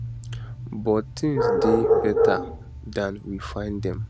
but tins dey beta dan we find dem